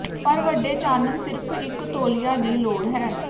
ਪਰ ਵੱਡੇ ਚਾਨਣ ਸਿਰਫ਼ ਇੱਕ ਤੌਲੀਆ ਦੀ ਲੋੜ ਹੈ